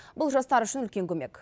бұл жастар үшін үлкен көмек